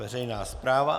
Veřejná správa.